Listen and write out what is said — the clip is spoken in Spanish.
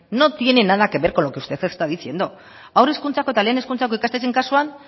no tiene nada que ver con lo que usted está diciendo haur hezkuntzako eta lehen hezkuntzako ikastetxe kasuan